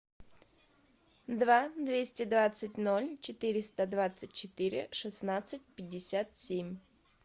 два двести двадцать ноль четыреста двадцать четыре шестнадцать пятьдесят семь